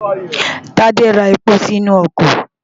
Tádé ra epo sínú ọkọ̀.